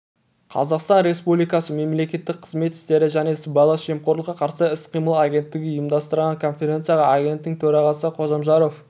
қазақстан республикасы мемлекеттік қызмет істері және сыбайлас жемқорлыққа қарсы іс-қимыл агенттігі ұйымдастырған конференцияға агенттік төрағасы қожамжаров